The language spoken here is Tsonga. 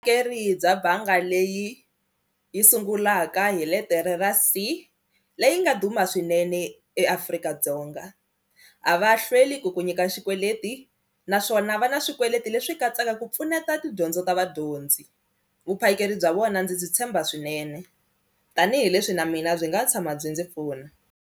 Ke ri bya banga leyi yi sungulaka hi letere ra C leyi nga duma swinene eAfrika-Dzonga a va hlweli ku ku nyika xikweleti hi naswona va na swikweleti leswi katsaka ku pfuneta tidyondzo ta vadyondzi, vuphakeri bya vona ndzi byi tshemba swinene tanihileswi na mina byi nga tshama byi ndzi pfuna.